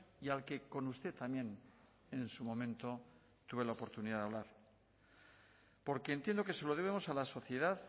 y al que con usted también en su momento tuve la oportunidad de hablar porque entiendo que se lo debemos a la sociedad